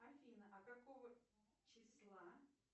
афина а какого числа